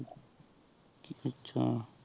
ਆਚਾ